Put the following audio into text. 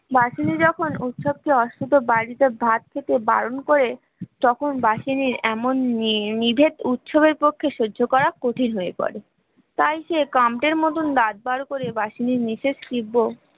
বাসনে যখন উৎসবটি অস্থিত বাড়িতে ভাত খেতে বারণ করে তখন বাহিনীর এমন নিয়ে নিজের উত্সবে পক্ষে সহ্য করা কঠিন হয়ে পড়ে তাই সে কান্তের মতন দাঁত বার করে বালির নিচে